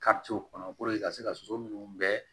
kɔnɔ ka se ka soso minnu bɛɛ